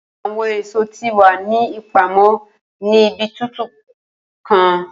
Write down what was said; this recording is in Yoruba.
Awọn eso ti wa ni ipamọ ni ibi tutu kan.